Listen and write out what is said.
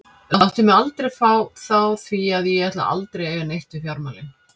Láttu mig aldrei fá þá því að ég ætla aldrei að eiga neitt við fjármálin.